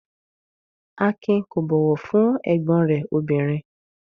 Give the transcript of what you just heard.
Akin kò bọ̀wọ̀ fún ẹ̀gbọ́n rẹ̀ obìnrin?